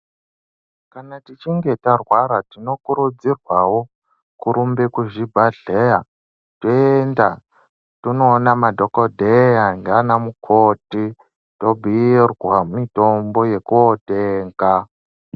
Kana tichinge tarwara tinokurudzirwawo kurumbe kuchibhadhleya toenda tonoona madhokodheya ndiana mukoti tobhuyirwa mitombo yekotenga.